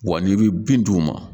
Wa n'i bɛ bin d'u ma